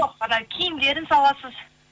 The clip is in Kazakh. жоқ ана киімдерін саласыз